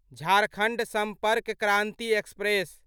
Jharkhand Sampark Kranti express